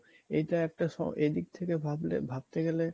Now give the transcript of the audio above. এটা একটা স এদিক থেকে ভাবলে ভাবতে গেলে